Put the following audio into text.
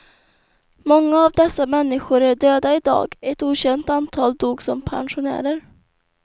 Många av dessa människor är döda i dag, ett okänt antal dog som pensionärer.